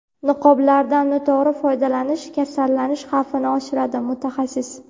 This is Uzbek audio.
Niqoblardan noto‘g‘ri foydalanish kasallanish xavfini oshiradi – mutaxassis.